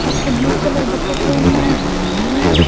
అక్కడ blue colour బకెట్లు ఉన్నాయి.